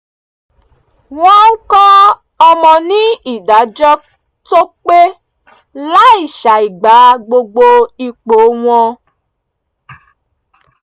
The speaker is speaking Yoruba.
wọ́n ń kọ́ ọmọ ní ìdájọ́ tó pé láì ṣàìgbà gbogbo ipò wọn